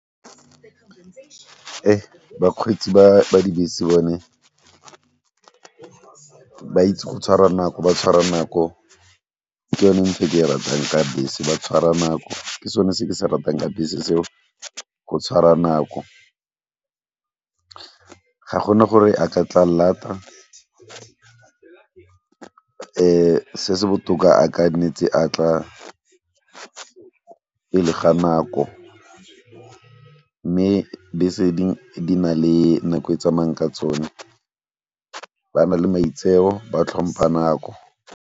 Bakgweetsi ba dibese bone ba itse go tshwara nako, ba tshwara nako ke yone nthwe ke e ratang ka bese ba tshwara nako ke sone se ke se ratang ka bese seo, go tshwara nako ga gona gore a ka tla lata. Se se botoka a kannetse a tla pele ga nako mme bese dingwe di na le nako e tsamayang ka tsone ba na le maitseo, ba tlhompha nako.